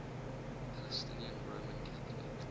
palestinian roman catholic